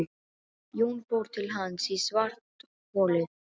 Jón fór til hans í svartholið.